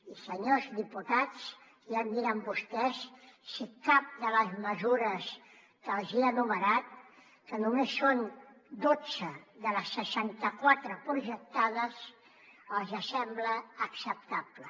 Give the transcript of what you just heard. i senyors diputats ja em diran vostès si cap de les mesures que els hi he enumerat que només són dotze de les seixanta quatre projectades els sembla acceptable